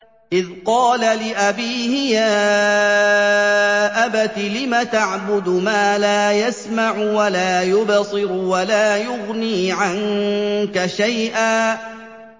إِذْ قَالَ لِأَبِيهِ يَا أَبَتِ لِمَ تَعْبُدُ مَا لَا يَسْمَعُ وَلَا يُبْصِرُ وَلَا يُغْنِي عَنكَ شَيْئًا